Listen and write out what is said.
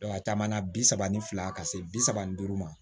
a caman na bi saba ni fila ka se bi saba ni duuru ma